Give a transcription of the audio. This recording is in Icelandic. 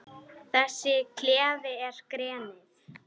Þessi klefi er grenið.